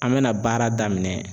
An mɛna baara daminɛ